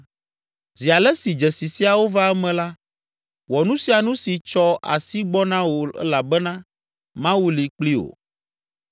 Zi ale si dzesi siawo va eme la, wɔ nu sia nu si tsɔ asi gbɔ na wò elabena Mawu li kpli wò.